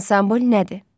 Ansambl nədir?